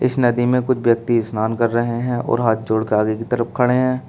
इस नदी में कुछ व्यक्ति स्नान कर रहे हैं और हाथ जोड़कर आगे की तरफ खड़े हैं।